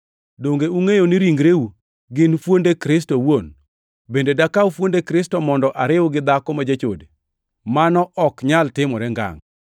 Donge ungʼeyo ni ringreu gin fuonde Kristo owuon? Bende dakaw fuonde Kristo mondo ariw gi dhako ma jachode? Mano ok nyal timore ngangʼ!